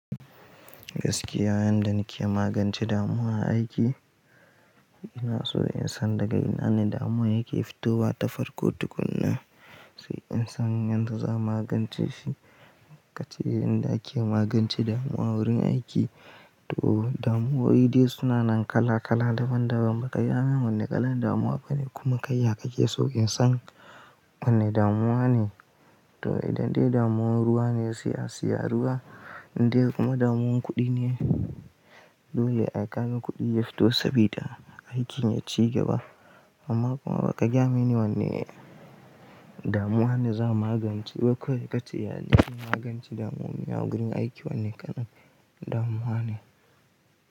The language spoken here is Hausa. Gaskiya yanda nike magance damuwa a aiki, ina so in san daga ina ne damuwa yake fitowa, ta farko tukuna. Sai in san yadda za magance shi. Kace yanda ake magance damuwa wurin aiki to damuwoyi dai suna nan kala kala daban daban. Baka gaya min wanne kalan damuwa bane kuma kai ya kake so in san wanne damuwa ne. To idan dai damuwar ruwa ne sai a, siya ruwa. Idan kuma damuwar kuɗi ne, dole ai kaga kuɗi yafito saboda aikin ya cigaba. Amma kuma baka ya mini wanne damuwa ne za magancewa kawai kace ya za'a magance damuwa wurin aiki wanne kalan damuwa ne.